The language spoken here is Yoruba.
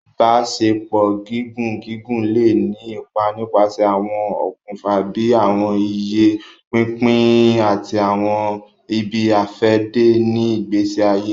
Ibaṣepọ gígùn gígùn le ni ipá nipasẹ awọn òkùnfà bíi awọn iye pínpín ati awọn ibi-afẹde ni ìgbésí ayé.